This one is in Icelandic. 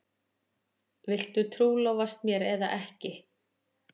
Viltu trúlofast mér eða ekki?